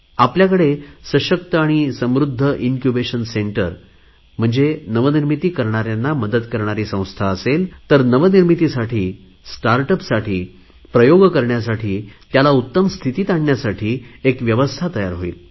आमच्याकडे सशक्त आणि समृध्द इनक्युबेशन सेंटर म्हणजे नवनिर्मिती करणाऱ्यांना मदत करणारी संस्था असेल तर नवनिर्मितीसाठी स्टार्ट यूपी साठी प्रयोग करण्यासाठी त्याला उत्तम स्थितीत आणण्यासाठी एक व्यवस्था तयार होईल